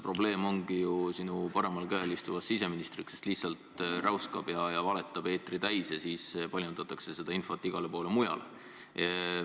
Probleem on ju sinu paremal käel istuvas siseministris, kes lihtsalt räuskab ja valetab eetri täis ja siis paljundatakse seda infot igale poole mujale.